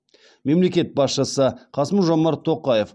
мемлекет басшысы қасым жомарт тоқаев